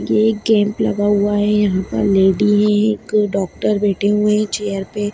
ये कैंप लगा हुआ है यहां पे लेडी है एक डॉक्टर बैठे हुए हैं चेयर पे।